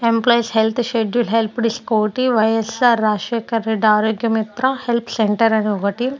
employees health schedule helped scooty Y S R Rajasekhar Reddy Arogya Mitra help centre అని ఒకటి--